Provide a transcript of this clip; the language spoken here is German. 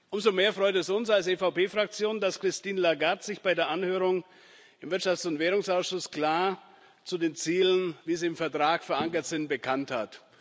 Umso mehr freut es uns als EVP Fraktion, dass Christine Lagarde sich bei der Anhörung im Wirtschafts und Währungsausschuss klar zu den Zielen, wie sie im Vertrag verankert sind, bekannt hat.